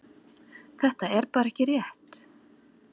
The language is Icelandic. Þetta er bara ekki rétt.